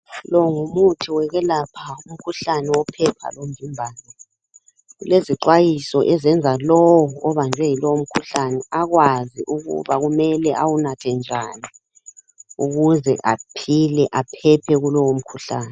Lo ngumuthi wokwelapha umkhuhlane wophepha lomvimbano, kulezixwayiso ezenza lowo obanjwe yilowo mkhuhlane akwazi ukuba kumele awunathe njani ukuze aphile aphephe kulowo mkhuhlane.